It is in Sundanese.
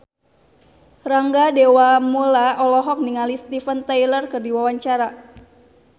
Rangga Dewamoela olohok ningali Steven Tyler keur diwawancara